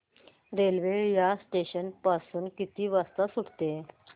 railway या station पासून किती वाजता सुटते